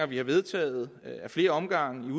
vi har vedtaget ad flere omgange